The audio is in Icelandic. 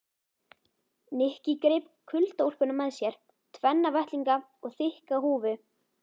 Nikki greip kuldaúlpuna með sér, tvenna vettlinga og þykka húfu.